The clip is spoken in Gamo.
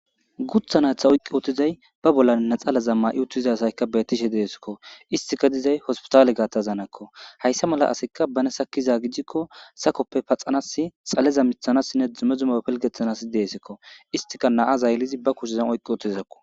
Gutha naytha oyqqi ootizay ba bolla naxalaza ma'i uttizasayka beetishe deesikko istika dizay hospitaale gaattazanakko hayssa mala asekka bane sakkiza gijikko sakoppe paxanas xaleza mithanassinne dzume zuma pelgeththanasi deesekko istika naa zayllizi ba kushezan oqqi ootizakko/.